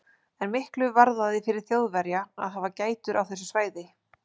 En miklu varðaði fyrir Þjóðverja að hafa gætur á þessu svæði.